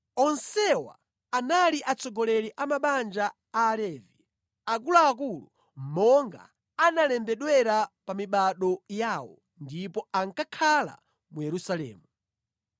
Onsewa anali atsogoleri a mabanja a Alevi, akuluakulu monga analembedwera pa mibado yawo, ndipo ankakhala mu Yerusalemu.